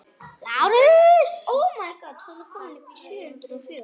LÁRUS: Þakka yður fyrir.